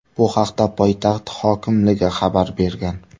Bu haqda poytaxt hokimligi xabar bergan .